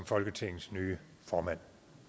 folketingets nye formand